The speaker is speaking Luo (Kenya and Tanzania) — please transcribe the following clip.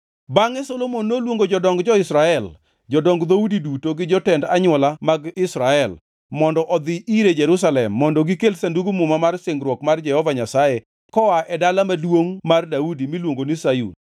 Bangʼe Solomon noluongo jodong jo-Israel, jodong dhoudi duto gi jotend anywola mag Israel mondo odhi ire Jerusalem mondo gikel Sandug Muma mar singruok mar Jehova Nyasaye koa e Dala Maduongʼ mar Daudi miluongo ni Sayun.